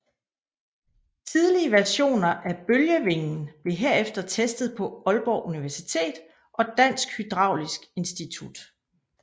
Tidlige versioner af bølgevingen blev herefter testet på Aalborg Universitet og Dansk Hydraulisk Institut